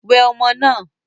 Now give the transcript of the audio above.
Wẹ ọmọ náà!